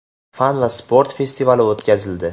fan va sport festivali o‘tkazildi.